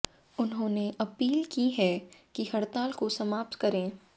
उन्होंने अपील की है कि हड़ताल को समाप्त करें